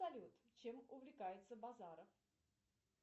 салют чем увлекается базаров